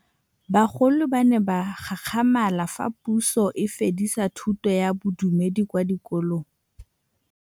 Bagolo ba ne ba gakgamala fa Pusô e fedisa thutô ya Bodumedi kwa dikolong.